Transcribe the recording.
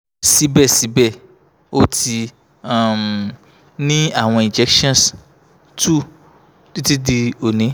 sibẹsibẹ o ti um ni awọn injections two titi di oni